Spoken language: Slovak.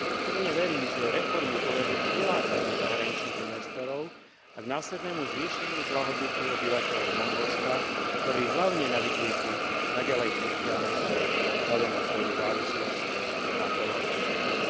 Pevne verím, že reformy povedú k prilákaniu zahraničných investorov a k následnému zvýšeniu blahobytu obyvateľov Mongolska, ktorí hlavne na vidieku naďalej trpia núdzou vzhľadom na svoju závislosť na poľnohospodárstve.